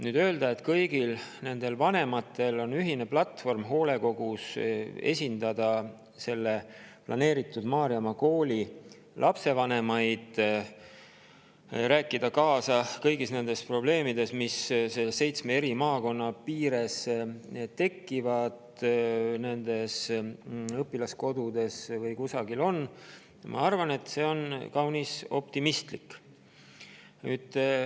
Öelda seda, et kõigil nendel vanematel on ühine platvorm hoolekogus, et esindada selle planeeritud Maarjamaa kooli lapsevanemaid ja rääkida kaasa kõigi nende probleemide korral, mis seitsmes eri maakonnas nendes õpilaskodudes tekivad, on minu arvates kaunis optimistlik.